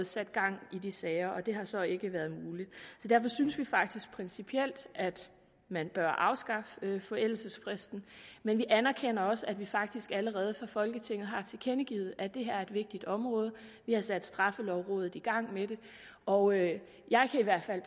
sat gang i de sager det har så ikke været muligt derfor synes vi faktisk principielt at man bør afskaffe forældelsesfristen men vi anerkender også at vi faktisk allerede fra folketingets side har tilkendegivet at det her er et vigtigt område vi har sat straffelovrådet i gang med det og jeg jeg kan i hvert fald